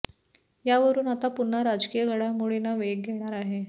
यावरून आता पुन्हा राजकीय घडामोडींना वेग येणार आहे